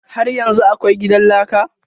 Har yanzu akwai gidan laka?